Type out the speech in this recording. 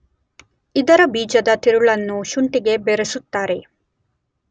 ಇದರ ಬೀಜದ ತಿರುಳನ್ನು ಶುಂಠಿಗೆ ಬೆರೆಸುತ್ತಾರೆ